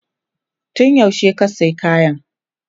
Tun yaushe ka sayi kayan?